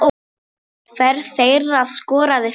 Hver þeirra skoraði fimm mörk.